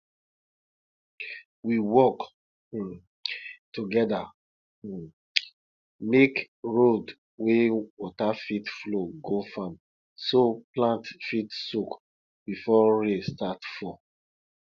we work um together um make road wey water fit flow go farm so plants fit soak before rain start fall